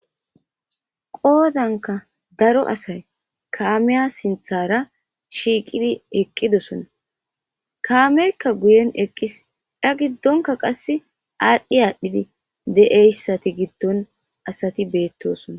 Qoodankka daro asay kaamiya sinththara shiiqqidi eqqidosona kaameykka guyen eqqis a giddonka qasse aadhdhi aadhdhidi de'iyssattu giddon asati beettosona